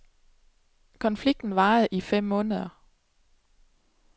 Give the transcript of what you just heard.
Konflikten varede i fem måneder.